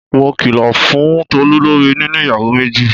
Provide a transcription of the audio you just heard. Mo kìlò fún Tolú lorí níní ìyàwó méjì.